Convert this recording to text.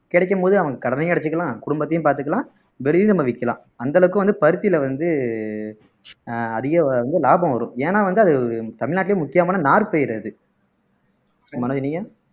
கிடைக்கும் போது அவங்க கடனையும் அடைச்சுக்கலாம் குடும்பத்தையும் பார்த்துக்கலாம் வெளியில நம்ம விக்கலாம் அந்த அளவுக்கு வந்து பருத்தியில வந்து அதிக வந்து லாபம் வரும் ஏன்னா வந்து அது தமிழ்நாட்டிலேயே முக்கியமான நாற்பயிரு அது மனோஜ் நீங்க